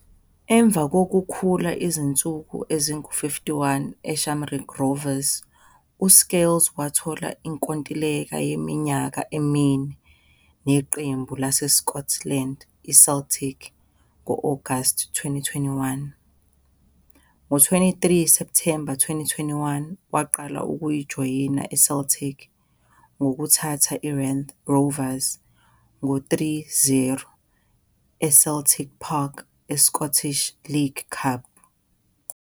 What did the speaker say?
Ngemva kokukhula izinsuku ezingu-51 e-Shamrock Rovers, uScales wathola inkontileka yeminyaka emine neqembu laseScotland i-Celtic ngo-Agasti 2021. Ngo-23 September 2021, waqala ukujoyina i-Celtic ngokuthatha i-Raith Rovers ngo-3-0 e-Celtique Park e-Scottish League Cup.